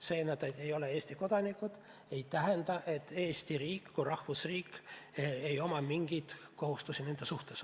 See, et nad ei ole Eesti kodanikud, ei tähenda aga, et Eesti riigil kui rahvusriigil ei ole mingeid kohustusi nende suhtes.